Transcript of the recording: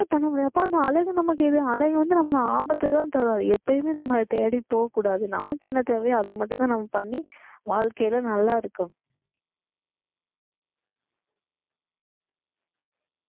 பண்ண முடியாதுப்பா அந்த அழகு நமக்கு அழகு வந்து நம்மளை ஆபத்தைதான் தரும் எப்பயுமே நம்மளை தேடி போகக் கூடாது நமக்கு என்ன தேவையோ அதை மட்டும்தான் நம்ம பண்ணி வாழ்க்கையில நல்லா இருக்கும்.